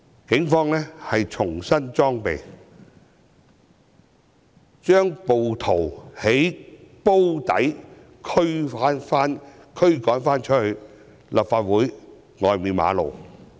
警方重新裝備後，把暴徒由"煲底"驅趕到立法會外的馬路。